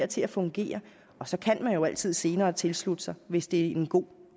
til at fungere og så kan man jo altid senere tilslutte sig hvis det er en god